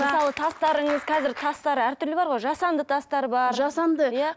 мысалы тастарыңыз қазір тастар әртүрлі бар ғой жасанды тастар бар жасанды иә